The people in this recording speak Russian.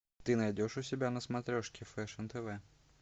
ты найдешь у себя на смотрешке фэшн тв